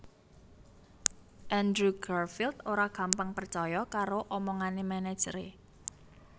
Andrew Garfield ora gampang percoyo karo omongane manajere